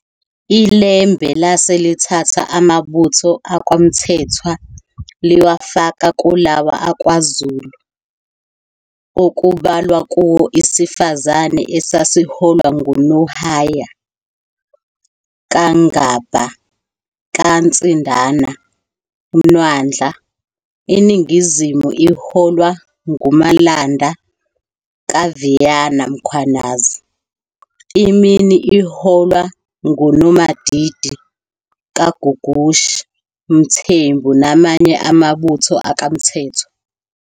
ILembe lase lithatha amabutho akwaMthethwa liwafaka kulawa akwaZulu, okubalwa kuwo iSifazane esasiholwa nguNohaya kaNgabha kaNsindana Mwandla, iNingizimu iholwa nguMalanda kaVeyana Mkhwanazi, iMini iholwa nguNomadidi kaGugushi Mthembu namanye mabutho akwaMthethwa.